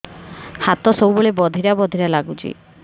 ହାତ ସବୁବେଳେ ବଧିରା ବଧିରା ଲାଗୁଚି